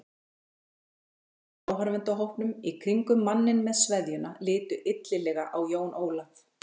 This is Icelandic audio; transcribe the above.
Allir í áhorfendahópnum í kringum manninn með sveðjuna litu illilega á Jón Ólaf.